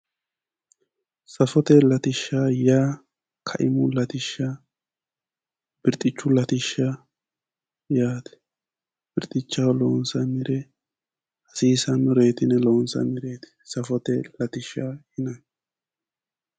Safote latishsha yaa kiamu latishsha, birxxichu latishsha yaate. birxichaho loonsannire hasiisannoreeti yine loonsannire yine loonsannireeti.